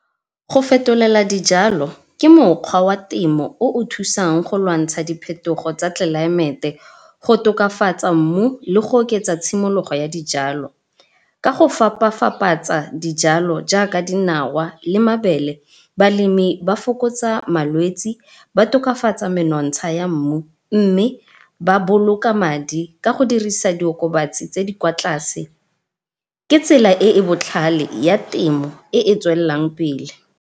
Go fetolela dijalo ke mokgwa wa temo o o thusang go lwantsha diphetogo tsa tlelaemete, go tokafatsa mmu le go oketsa tshimologo ya dijalo ka go fapa-fapatsa dijalo jaaka dinawa le mabele. Balemi ba fokotsa malwetse ba tokafatsa menontsha ya mmu mme ba boloka madi, ka go dirisa diokobatsi tse di kwa tlase. Ke tsela e e botlhale ya temo e e tswelelang pele.